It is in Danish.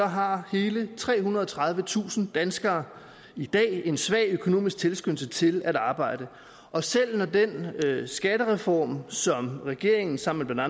har hele trehundrede og tredivetusind danskere i dag en svag økonomisk tilskyndelse til at arbejde og selv når den skattereform som regeringen sammen med